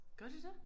Gør de det?